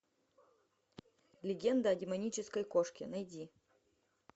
легенда о демонической кошке найди